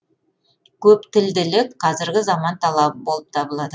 көптілділік қазіргі заман талабы болып табылады